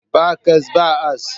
Ba cas, ba as